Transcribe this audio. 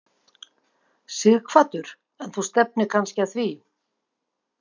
Sighvatur: En þú stefnir kannski að því?